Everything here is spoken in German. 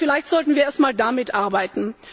Also vielleicht sollten wir erstmal damit arbeiten.